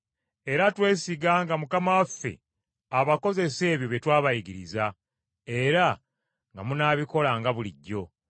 Era twesiga nga Mukama waffe, abakozesa ebyo bye twabayigiriza era nga munaabikolanga bulijjo.